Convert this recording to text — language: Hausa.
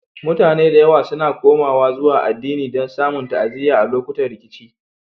Mutane da yawa suna komawa zuwa addini don samun ta'aziyya a lokutan rikici.